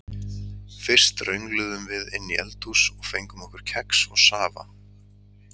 Fyrst röngluðum við inn í eldhús og fengum okkur kex og safa.